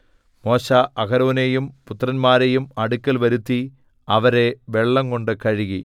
മോശെ അഹരോനെയും പുത്രന്മാരെയും അടുക്കൽ വരുത്തി അവരെ വെള്ളംകൊണ്ട് കഴുകി